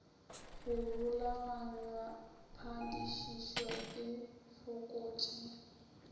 go rulaganywa padišišo e fokotše